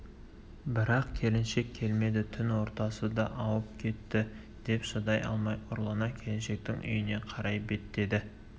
бірақ келіншек келмеді түн ортасы да ауып кетті деп шыдай алмай ұрлана келіншектің үйіне қарай беттеді